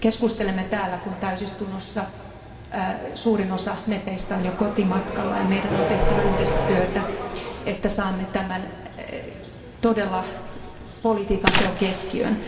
Me keskustelemme täällä, kun täysistunnossa suurin osa jäsenistä on jo kotimatkalla, ja meidän on tehtävä yhdessä työtä, että saamme tämän todella politiikan teon keskiöön.